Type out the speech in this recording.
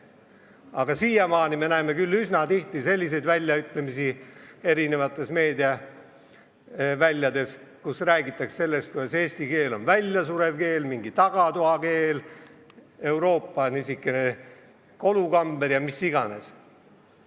Aga siiamaani me näeme küll üsna tihti meediaväljades selliseid väljaütlemisi, et eesti keel on väljasurev keel, mingi tagatoakeel, Euroopa kolukamber ja mis iganes.